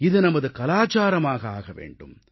இது நமது கலாச்சாரமாக ஆக வேண்டும்